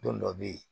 Don dɔ bɛ ye